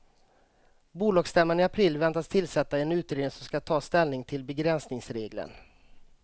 Bolagsstämman i april väntas tillsätta en utredning som ska ta ställning till begränsningsregeln.